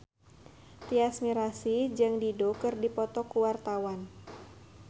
Tyas Mirasih jeung Dido keur dipoto ku wartawan